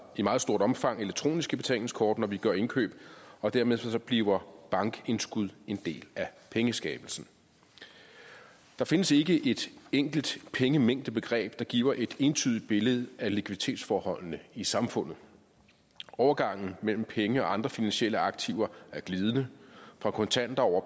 i meget stort omfang elektroniske betalingskort når vi gør indkøb og dermed bliver bankindskud en del af pengeskabelsen der findes ikke et enkelt pengemængdebegreb der giver et entydigt billede af likviditetsforholdene i samfundet overgangen mellem penge og andre finansielle aktiver er glidende fra kontanter over